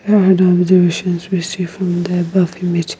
and observations we see from the above image.